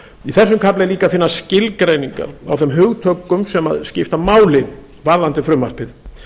í þessum kafla er líka að finna skilgreiningar á þeim hugtökum sem skipta máli varðandi frumvarpið